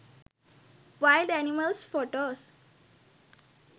wild animals photos